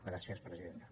gràcies presidenta